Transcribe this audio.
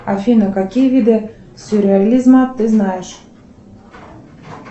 афина какие виды сюрреализма ты знаешь